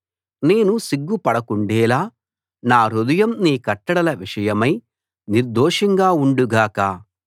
నేను సిగ్గుపడకుండేలా నా హృదయం నీ కట్టడల విషయమై నిర్దోషంగా ఉండు గాక